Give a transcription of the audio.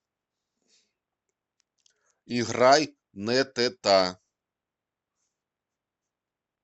играй нэтэта